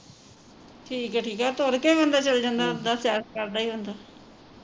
ਠੀਕ ਹੈ ਠੀਕ ਹੈ ਤੁਰ ਕੇ ਹੀ ਬੰਦਾ ਚੱਲ ਜਾਂਦਾ ਉੱਦਾ ਸੈਰ ਕਰਦਾ ਈ ਜਾਂਦਾ